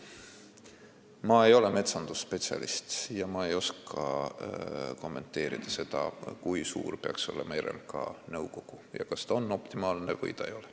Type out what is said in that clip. Ma ei ole metsandusspetsialist ega oska kommenteerida seda, kui suur peaks olema RMK nõukogu ja kas see on optimaalne või ei ole.